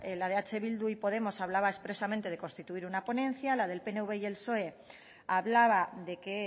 la de eh bildu y podemos hablaba expresamente de constituir una ponencia y la del pnv y el psoe hablaba de que